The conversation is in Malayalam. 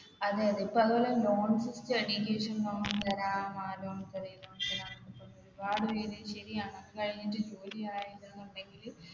അതെ അതെ ഇപ്പോ അതേപോലെ loans study തരാം നാല് മാസം അല്ലെ ഏഴ് മാസം പറഞ്ഞു ഒരുപാട് പേര് ശരിയാണ് അതുകഴിഞ്ഞിട്ട് ജോലി ആയിലാന്നുണ്ടെങ്കില്